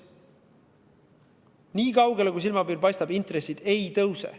Vaadates nii kaugele, kui silmapiir paistab, intressid ei tõuse.